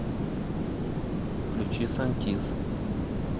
включи сантиз